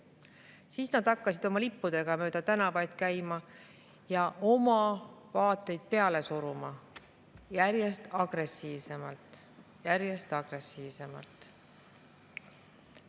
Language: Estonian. Siis hakkasid nad oma lippudega mööda tänavaid käima ja oma vaateid peale suruma järjest agressiivsemalt, järjest agressiivsemalt.